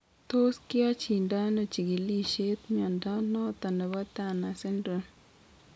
Tos kiyachindo ano chigilisiet mnyondo noton nebo Turner syndrome ?